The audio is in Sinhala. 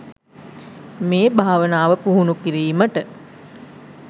මේ භාවනාව පුහුණු කිරීමට